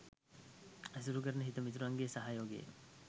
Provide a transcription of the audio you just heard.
ඇසුරු කරන හිතමිතුරන්ගේ සහයෝගය